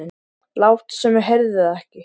Láta sem ég heyrði það ekki.